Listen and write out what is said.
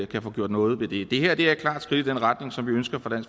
kan få gjort noget ved det det her er et klart skridt i den retning som vi ønsker fra